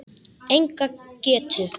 Enga getu.